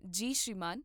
ਜੀ ਸ਼੍ਰੀਮਾਨ